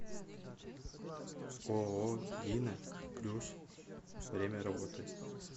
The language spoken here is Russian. ооо дина плюс время работы